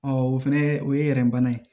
o fɛnɛ o ye bana ye